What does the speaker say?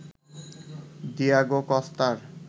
Diego কস্তার